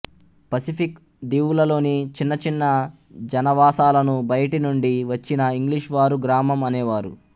Pacific దీవులలోని చిన్న చిన్న జనావాసాలను బయటి నుండి వచ్చిన ఇంగ్లీషువారు గ్రామం అనేవారు